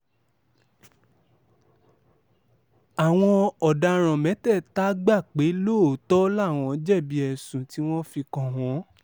àwọn ọ̀daràn mẹ́tẹ̀ẹ̀ta gbà pé lóòótọ́ làwọn jẹ̀bi ẹ̀sùn tí wọ́n fi kàn wọ́n